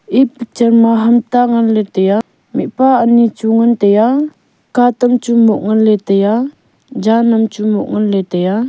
e picture ma ham ta nganle tai a mihpa anyi chu ngan tai a katam chu moh nganle tai a jan am chu moh le tai a.